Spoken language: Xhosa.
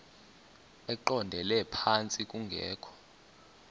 eqondele phantsi kungekho